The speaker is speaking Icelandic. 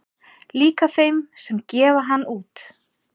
Líka þeim sem gefa hann út